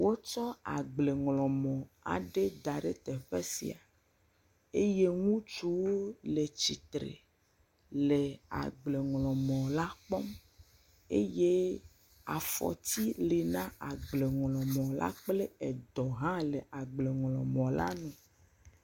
Wotsɔ agbleŋlɔmɔ aɖe da ɖe teƒe sia eye ŋutsuwo le tsitre le agbleŋlɔmɔ la kpɔm eye afɔti le na agbleŋlɔmɔ la edɔ hã le agbleŋlɔmɔ la…